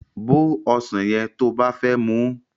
Bó ọsàn yẹn to bá fẹ́ muú